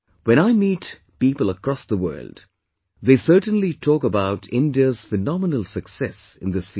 When I meet the people across the world, they certainly talk about India's phenomenal success in this field